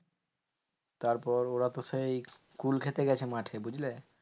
তারপর ওরা তো সেই কুল খেতে গেছে মাঠে বুঝলে?